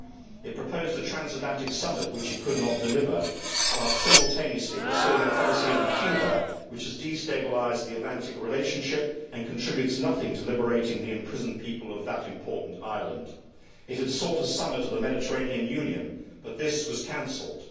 It proposed a transatlantic summit which it could not deliver, while simultaneously pursuing a policy on Cuba which has destabilised the Atlantic relationship and contributes nothing to liberating the imprisoned people of that important island. It had sought a summit of the Mediterranean Union, but this was cancelled.